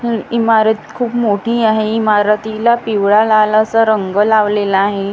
हि इमारत खूप मोठी आहे इमारतीला पिवळा लाल असा रंग लावलेला आहे.